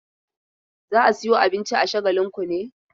Za ka sayo abinci a Shagalinku ne?